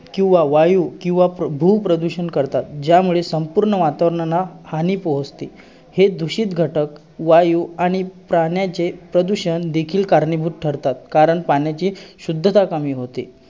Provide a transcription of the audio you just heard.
किंवा वायू किंवा भू प्रदूषण करतात ज्यामुळे संपूर्ण वातावरणाला हानी पोचते. हे दूषित घटक वायू आणि पाण्याचे प्रदूषण देखील कारणीभूत ठरतात कारण पाण्याची शुद्धता कमी होते.